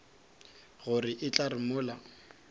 gore e tla re mola